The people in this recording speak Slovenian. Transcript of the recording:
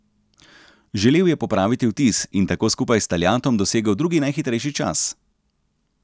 Želel je popraviti vtis in tako skupaj s Taljatom dosegel drugi najhitrejši čas.